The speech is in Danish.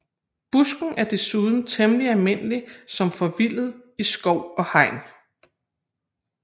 Busken er desuden temmelig almindelig som forvildet i skov og hegn